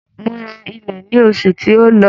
Mo ra ilẹ̀ ní oṣù tí ó lọ.